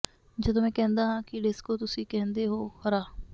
ਜਦੋਂ ਮੈਂ ਕਹਿੰਦਾ ਹਾਂ ਕਿ ਡਿਸਕੋ ਤੁਸੀਂ ਕਹਿੰਦੇ ਹੋ ਹਰਾ